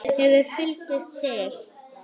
Það hefði flykkst til